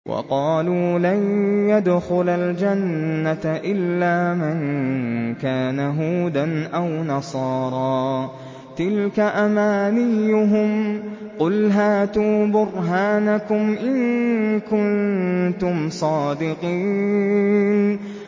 وَقَالُوا لَن يَدْخُلَ الْجَنَّةَ إِلَّا مَن كَانَ هُودًا أَوْ نَصَارَىٰ ۗ تِلْكَ أَمَانِيُّهُمْ ۗ قُلْ هَاتُوا بُرْهَانَكُمْ إِن كُنتُمْ صَادِقِينَ